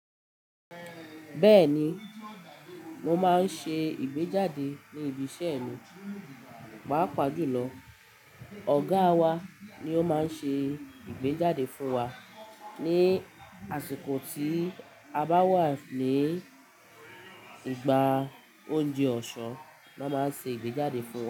Bẹ́ẹ̀ni, mo máa ń ṣe ìgbéjáde ní ibi iṣẹ́ mi. Pàápàá jùlọ ọ̀gáa wa ni ó máa ń ṣe ìgbéjáde fún wa ní àsìkò tí a bá wà ní ìgbà oúnjẹ ọ̀sán ni wọ́n máa ń ṣe ìgbéjáde fún wa.